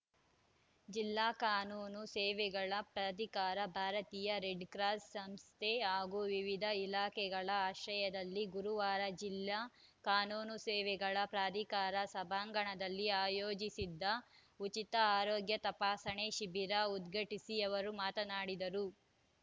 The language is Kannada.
ಜಿಲ್ಲಾ ಕಾನೂನು ಸೇವೆಗಳ ಪ್ರಾಧಿಕಾರ ಭಾರತೀಯ ರೆಡ್‌ಕ್ರಾಸ್‌ ಸಂಸ್ಥೆ ಹಾಗೂ ವಿವಿಧ ಇಲಾಖೆಗಳ ಆಶ್ರಯದಲ್ಲಿ ಗುರುವಾರ ಜಿಲ್ಲಾ ಕಾನೂನು ಸೇವೆಗಳ ಪ್ರಾಧಿಕಾರದ ಸಭಾಂಗಣದಲ್ಲಿ ಆಯೋಜಿಸಿದ್ದ ಉಚಿತ ಆರೋಗ್ಯ ತಪಾಸಣೆ ಶಿಬಿರ ಉದ್ಘಾಟಿಸಿ ಅವರು ಮಾತನಾಡಿದರು